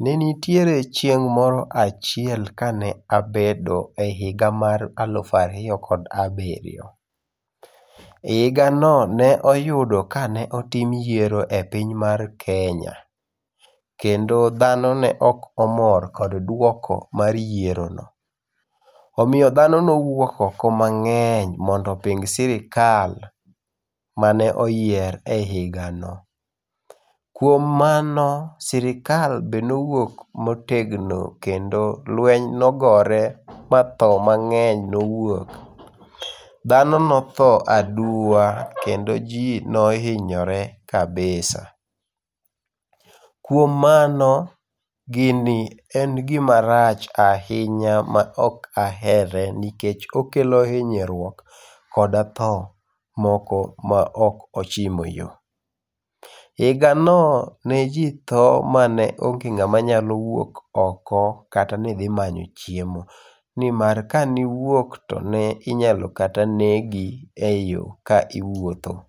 Ne nitiere chieng' moro achiel kane abedo ehiga mar alufu ariyo kod abiriyo. E higano ne oyudo ka ne otim yiero e piny mar Kenya, kendo dhano ne ok omor kod duoko mar yiero no. Omiyo dhano nowuok oko mang'eny mondo oping sirkal mane oyier e higano. Kuom mano, sirkal bende nowuok motegno kendo lweny nogore ma tho mang'eny nowuok. Dhano notho aduwa kendo ji nohinyore kabisa. Kuom mano, gini en gima rach ahinya maok ahere nikech okelo hinyruok kod tho moko ma ok ochimo yo. Higano ne jitho maneonge ng'ama nyalo wuok oko kata nidhi manyo chiemo. Nimar kaniwuok to ne inyalo kata negi eyo ka iwuotho.